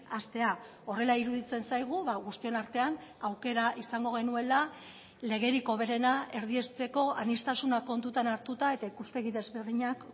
hastea horrela iruditzen zaigu guztion artean aukera izango genuela legerik hoberena erdiesteko aniztasunak kontutan hartuta eta ikuspegi desberdinak